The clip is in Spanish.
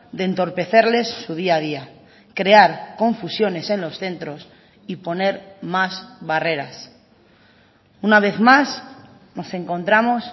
de entorpecerles su día a día crear confusiones en los centros y poner más barreras una vez más nos encontramos